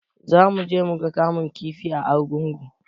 Zamu je muga kamun kifi a argungu